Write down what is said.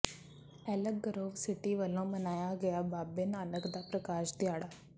ਐਲਕ Grove City ਵੱਲੋਂ ਮਨਾਇਆ ਗਿਆ ਬਾਬੇ ਨਾਨਕ ਦਾ ਪ੍ਰਕਾਸ਼ ਦਿਹਾੜਾ